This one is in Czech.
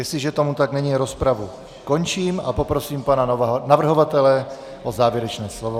Jestliže tomu tak není, rozpravu končím a poprosím pana navrhovatele o závěrečné slovo.